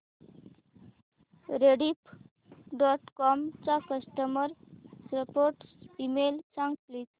Rediff dot com चा customer support email सांग please